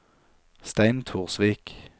Stein Torsvik